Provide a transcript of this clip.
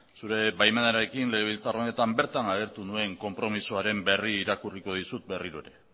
zure baimenarekin legebiltzar honetan bertan agertu nuen konpromezuaren berri irakurriko dizut berriro ere